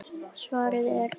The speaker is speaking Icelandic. Svarið er: Fólkið.